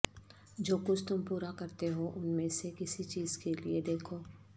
جو کچھ تم پورا کرتے ہو ان میں سے کسی چیز کے لئے دیکھو